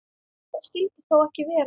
Það skyldi þó ekki vera?